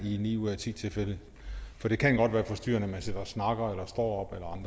i ni ud af ti tilfælde for det kan godt være forstyrrende at man sidder og snakker eller står